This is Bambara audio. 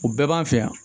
O bɛɛ b'an fɛ yan